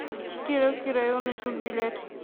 кировский районный суд билет